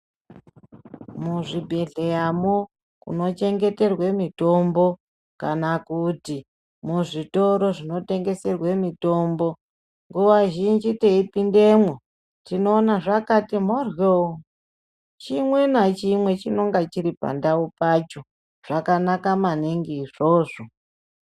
Muzvibhedhleramwo munochengeterwa mitombo kana kuti muzvitoro zvinotengeserwa mitombo nguwa zhinji teipindamo tinoona zvakati mboryo chimwe nachimwe chinenge chiri pacho zvakanaka maningi.